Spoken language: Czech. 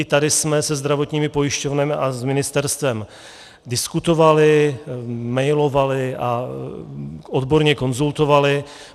I tady jsme se zdravotními pojišťovnami a s ministerstvem diskutovali, mailovali a odborně konzultovali.